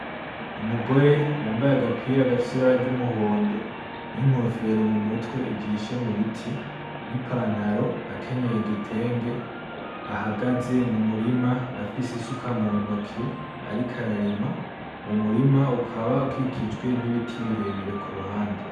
Umugore yambaye agapira agafsibara ry'umuhondo n'inkofero mu mutwe ijishe mu biti n'i pantaro akenyeye igitenge ahagaze mu murima afise isuka mu ntoke ari ko ararima wo murima ukaba ukikijwe n'ibiti birebire ku ruhande.